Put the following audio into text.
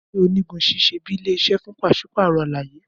Abule onigun ṣiṣẹ bi ile-iṣẹ fun paṣipaarọ alaye.